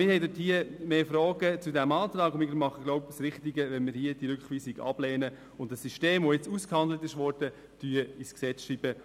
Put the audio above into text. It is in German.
Der Antrag wirft viele Fragen auf, und es ist wohl richtig, die Rückweisung abzulehnen und das System, das nun ausgehandelt wurde, ins Gesetz zu schreiben.